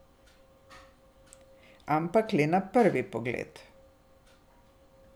Ampak le na prvi pogled.